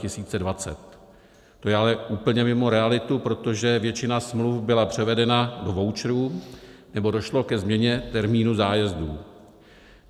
To je ale úplně mimo realitu, protože většina smluv byla převedena do voucherů nebo došlo ke změně termínů zájezdů.